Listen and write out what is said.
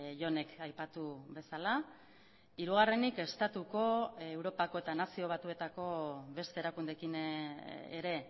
jonek aipatu bezala hirugarrenik estatuko europako eta nazio batuetako beste erakundeekin ere